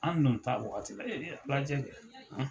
An dun t'a wagati la burancɛ kɛ.